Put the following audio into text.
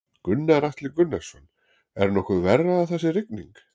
Gunnar Atli Gunnarsson: Er nokkuð verra að það sé rigning?